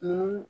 Mun